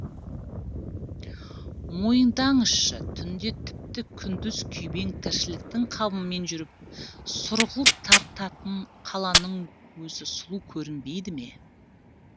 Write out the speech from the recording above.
мойындаңызшы түнде тіпті күндіз күйбең тіршіліктің қамымен жүріп сұрғылт тартатын қаланың өзі сұлу көрінбейді ме